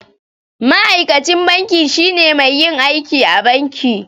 Ma'aikacin banki shine mai yin aiki a banki.